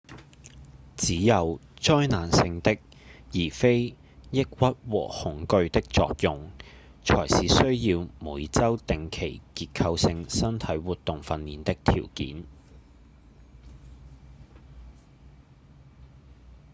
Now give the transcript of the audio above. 只有災難性的而非抑鬱和恐懼的作用才是需要每週定期結構性身體活動訓練的條件